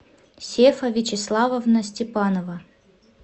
сефа вячеславовна степанова